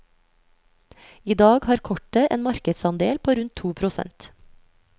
I dag har kortet en markedsandel på rundt to prosent.